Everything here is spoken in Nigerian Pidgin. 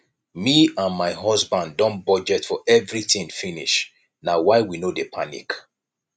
me and my husband don budget for everything finish na why we no dey panic